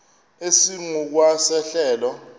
esingu kwa sehlelo